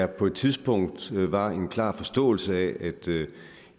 der på et tidspunkt var en klar forståelse af at det er